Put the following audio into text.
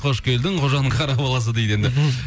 қош келдің қожаның қара баласы дейді енді мхм